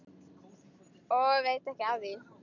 Og veit ekki af því.